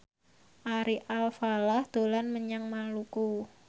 Ari Alfalah dolan menyang Maluku